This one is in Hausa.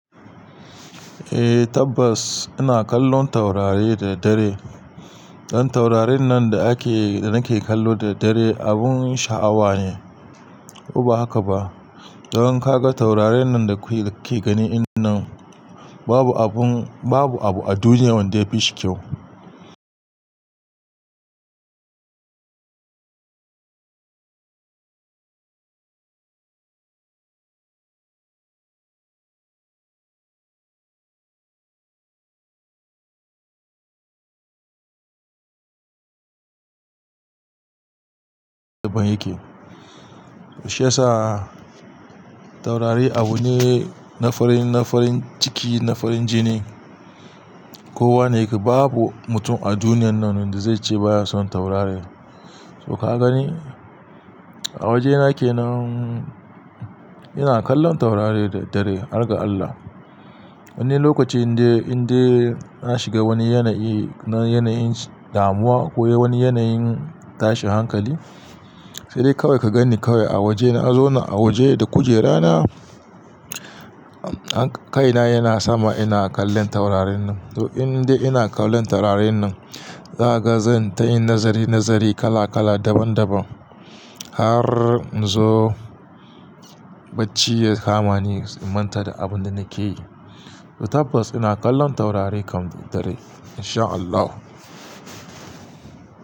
Eh Tabbas ina kallon taurari da dare. Dan taurarin nan da nake kallo da dare abun sha'awa ne. Ko ba haka ba? Dan ka ga taurarin nan da kuke gani in nan babu abun, babu abu a duniya wanda ya fi shi kyau. Daban yake. Shi yasa taurari abu ne na farin, na farin ciki, na farin jini. Kowa ne ke, babu mutum a duniyan nan wanda zai ce baya son taurari. To ka gani? A waje na ke nan ina kallon taurari da dare, har ga Allah. Wani lokacin dai in dai na shiga wani yanayi na yanayin damuwa ko wani yanayin tashin hankali, sai dai kawai ka gani kawai a waje na, a zona a waje da kujera na, kaina yana sama ina kallon taurarin nan. To in dai ina kallon taurarin nan, zaga zan tayi nazari-nazari kala-kala daban-daban har in zo bacci ya kamani manta da abun da nake yi. To tabbas ina kallon taurari kam da dare in sha Allah.